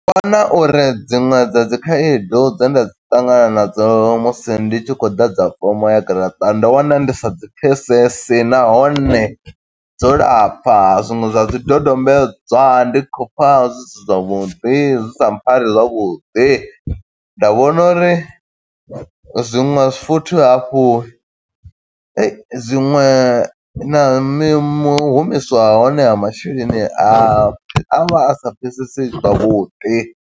Vhona uri dziṅwe dza dzi khaedu dze nda dzi ṱangana na dzo musi ndi tshi khou ḓadza fomo ya garaṱa, ndo wana ndi sa dzi pfesesi. Nahone dzo lapfa, zwiṅwe zwa zwi dodombedzwa ndi khou pfa zwi si zwavhuḓi, zwi sa pfari zwavhuḓi. Nda vhona uri zwiṅwe futhi hafhu, zwiṅwe na mi mu humiswa ha hone ha masheleni ha, a vha a sa pfeseseyi zwavhuḓi.